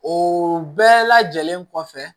O bɛɛ lajɛlen kɔfɛ